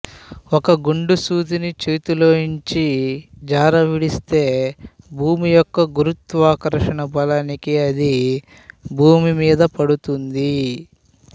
ఒక గుండు సూదిని చేతిలోంచి జార విడిస్తే భూమి యొక్క గురుత్వాకర్షణ బలానికి అది భూమి మీద పడుతుంది